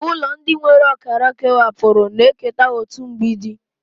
Ụlọ ndị nwere ọkara kewapụrụ na-eketa otu mgbidi.